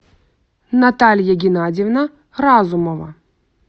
наталья геннадьевна разумова